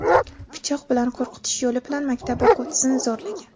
pichoq bilan qo‘rqitish yo‘li bilan maktab o‘quvchisini zo‘rlagan.